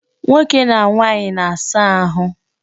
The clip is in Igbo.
Nwoke na nwaanyị na-asa ahu.